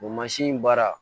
O mansin baara